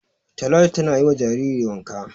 Talatu tana yi wa jariri wanka.